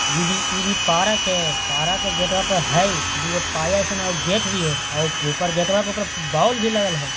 इ भी इ भी एक पारक हेय पारक के गेटवा पर हेय दुगो पाया सनक गेट भी हेय अ गेटवा के ऊपर बोल भी लगल हेय।